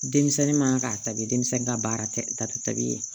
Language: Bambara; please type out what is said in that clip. Denmisɛnnin man ka tabi denmisɛn ka baara tɛ ta ka tabiya